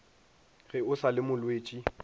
ge o sa le motswetši